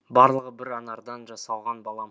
барлығы бір анардан жасалған балам